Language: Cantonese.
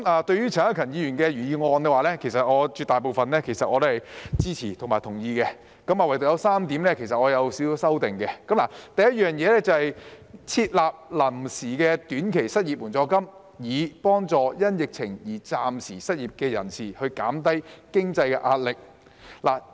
對於陳克勤議員的原議案，絕大部分我是支持及同意的，但對於當中有3點，我有少許修訂：第一是建議"設立臨時的短期失業援助金，以幫助因疫情而暫時失業的人士減輕經濟壓力"。